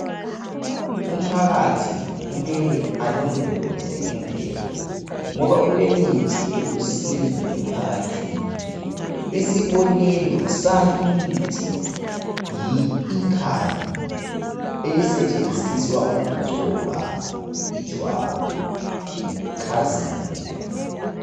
Umphakathi kumele alondoloze imvelo ngoba kulemithi elusizo emphakathini isibonelo salimithi yi ikhali elisetshenziswa ukugcoba ijwabu likhazimule.